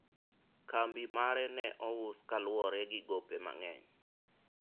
kambi mare ne ous kaluwore gi gope mang'eny